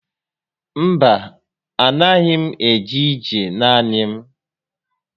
Mba, a na6ghi m eje ije naanị m